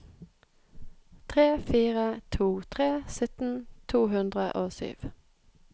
tre fire to tre sytten to hundre og sju